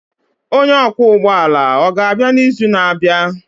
Onye ọkwọ ụgbọ ala ọ ga-abịa n'izu na-abịa?